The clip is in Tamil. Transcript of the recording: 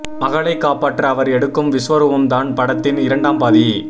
மகளை காப்பாற்ற அவர் எடுக்கும் விஸ்வரூபம் தான் படத்தின் இரண்டாம் பாதி